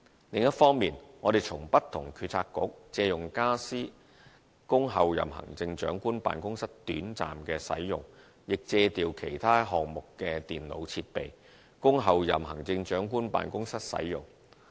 另一方面，我們從不同政策局借用傢俬供候任行政長官辦公室短暫使用，亦借調其他項目的電腦設備，供候任行政長官辦公室使用。